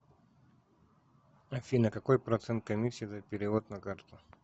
афина какой процент комиссии за перевод на карту